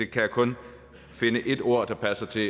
kan kun finde ét ord der passer til